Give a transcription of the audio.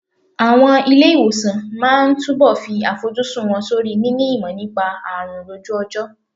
Àwọn ilé ìwòsàn máa túbọ̀ fi àfojúsùn wọn sórí níní ìmọ̀ nípa àrùn lójú ọjọ́.